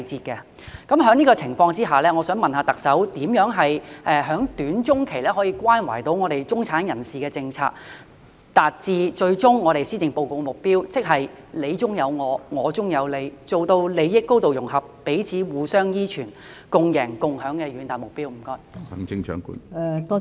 在這種情況下，我想問特首怎樣在短、中期可以關懷到中產人士的政策，達致施政報告的最終目標——即"你中有我、我中有你"，做到利益高度融合，彼此互相依存、共贏共享的遠大目標？